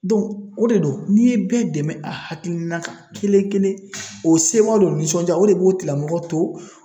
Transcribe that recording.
o de don n'i ye bɛɛ dɛmɛ a hakilina kan kelen kelen o sewa ni o nisɔndiya o de b'o tigila mɔgɔ to